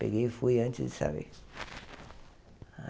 Peguei e fui antes de saber.